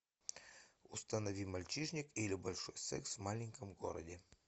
установи мальчишник или большой секс в маленьком городе